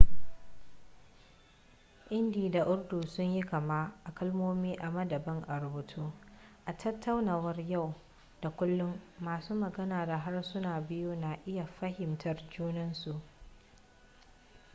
hindi da urdu sun yi kama a kalmomi amma daban a rubutu a tattaunawar yau da kullun masu magana da harsunan biyu na iya fahimtar junan su